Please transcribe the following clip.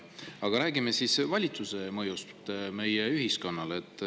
Aga räägime siis valitsuse mõjust meie ühiskonnale.